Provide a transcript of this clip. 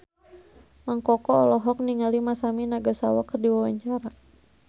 Mang Koko olohok ningali Masami Nagasawa keur diwawancara